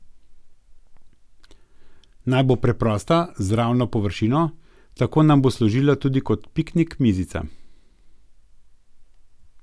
Naj bo preprosta, z ravno površino, tako nam bo služila tudi kot piknik mizica.